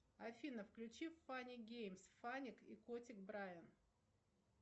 афина включи фанни геймс фаник и котик брайан